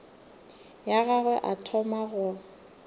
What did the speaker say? ya gagwe a thoma go